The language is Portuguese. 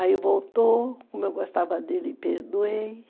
Aí voltou, como eu gostava dele, perdoei.